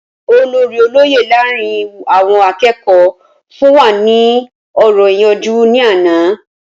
Olórí olóyè láàárín àwọn akẹ́kọ̀ọ́ fún wa ní ọ̀rọ̀ ìyànjú ní àná